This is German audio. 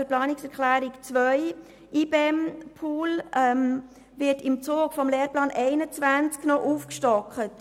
Zur Planungserklärung 2: Der IBEM-Pool wird im Zug des Lehrplans 21 noch aufgestockt.